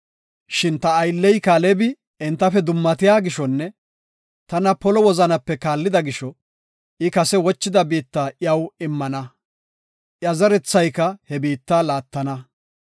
Shin ta aylley Kaalebi entafe dummatiya gishonne tana polo wozanape kaallida gisho, I kase wochida biitta iyaw immana; iya zerethayka he biitta laattana.